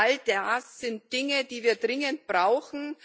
All das sind Dinge, die wir dringend brauchen.